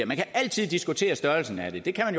man kan altid diskutere størrelsen af det det kan